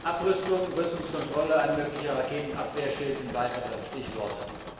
Abrüstung, Rüstungskontrolle, ein möglicher Raketenabwehrschild sind weitere Stichworte.